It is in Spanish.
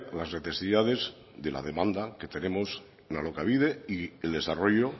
las necesidades de la demanda que tenemos en alokabide y el desarrollo